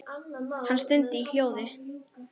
Hann stundi í hljóði.